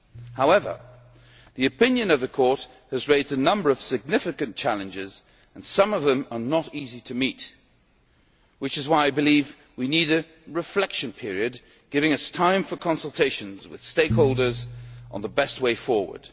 However, the opinion of the Court has raised a number of significant challenges, and some of them are not easy to meet which is why I believe we need a reflection period, giving us time for consultations with stakeholders on the best way forward.